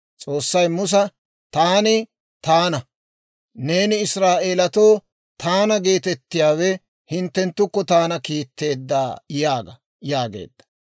S'oossay Musa, «Taani Taana; neeni Israa'eeletoo, ‹Taana geetettiyaawe hinttenttukko taana kiitteedda› yaaga» yaageedda.